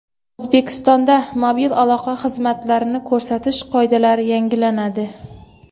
O‘zbekistonda mobil aloqa xizmatlarini ko‘rsatish qoidalari yangilanadi.